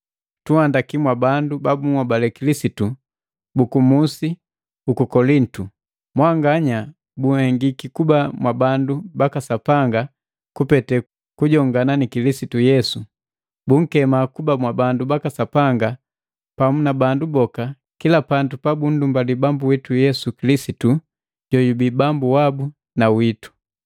Tunhandaki mwa bandu babuhobale Kilisitu buku musi uku Kolintu. Mwanganya bunhengiki kuba mwabandu baka Sapanga kupete kujongana na Kilisitu Yesu, bunkema kuba mwabandu baka Sapanga pamu na bandu boka kila pandu pabundumbali Bambu witu Yesu Kilisitu jojubii Bambu wabu na witu.